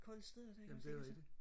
kolde steder der ikke også ikke altså